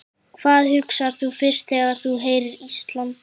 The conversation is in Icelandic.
Hvað hugsar þú fyrst þegar þú heyrir Ísland?